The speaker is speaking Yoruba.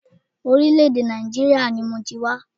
Orílẹ̀-èdè Nàìjíríà ni mọ ti wá.